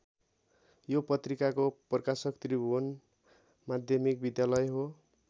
यो पत्रिकाको प्रकाशक त्रिभुवन माध्यमिक विद्यालय हो।